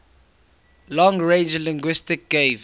long range linguistics gave